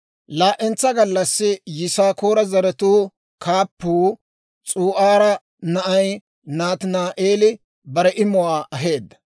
Laa"entsa gallassi Yisaakoora zaratuu kaappuu, S'u'aara na'ay Nataani'eeli bare imuwaa aheedda.